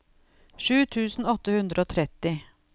sju tusen åtte hundre og tretti